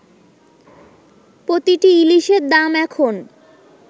প্রতিটি ইলিশের দাম এখন